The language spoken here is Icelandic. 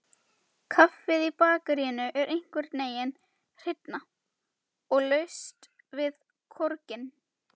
Kaffið í bakaríinu er einhvernveginn hreinna, og laust við korginn.